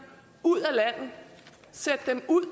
ud af landet sætte dem ud